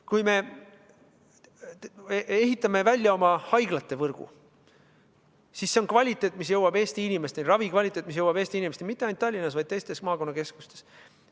Kui ehitame välja oma haiglate võrgu, siis sellega kaasneb kvaliteet, mis jõuab Eesti inimesteni, ravi kvaliteet, mis jõuab Eesti inimesteni – mitte ainult Tallinnas, vaid ka teistes maakonnakeskustes.